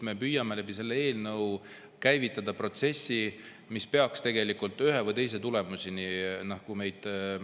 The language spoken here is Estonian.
Me püüame selle eelnõu abil käivitada protsessi, mis peaks tegelikult ühe või teise tulemuseni viima.